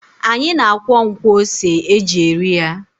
Anyị na-akwọ nkwọ ose e ji eri ya.